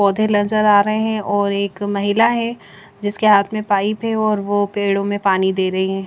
पौधे नज़र आ रहे है और एक ए ए ए महिला है जिसके हाथ में पाइप है और वो पेड़ों में पानी दे रही है ।